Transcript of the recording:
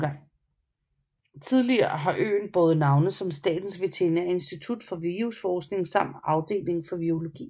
Tidligere har øen båret navne som Statens Veterinære Institut for Virusforskning samt Afdeling for Virologi